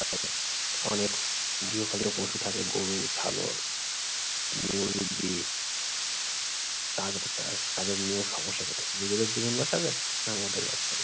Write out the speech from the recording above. অনেক গৃহপালিত পশু থাকে, গরু ছাগল মুরগি তাদের দ্বারাও তাদের নিয়েও সমস্যা পোহাই। নিজেদের জীবন বাঁচাবে না ওদের বাঁচাবে!